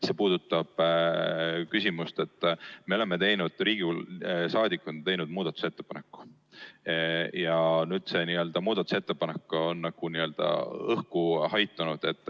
See puudutab küsimust, et Riigikogu liikmed on teinud muudatusettepaneku, aga see muudatusettepanek on nagu õhku haihtunud.